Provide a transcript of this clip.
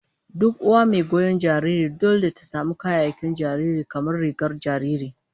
Duk uwa mai goyon jariri dole ta samu kayayyakin jariri, kamar rigar jariri